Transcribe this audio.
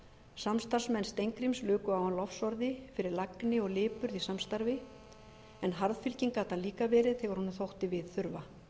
samstarfsmenn steingríms luku á hann lofsorði fyrir lagni og lipurð í samstarfi en harðfylginn gat hann líka verið þegar honum þótti við þurfa